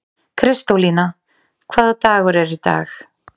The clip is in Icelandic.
Kristólína, hvaða dagur er í dag?